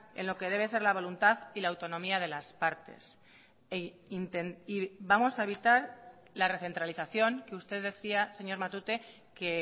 en lo que debe ser la voluntad y la autonomía de las partes vamos a evitar la recentralización que usted decía señor matute que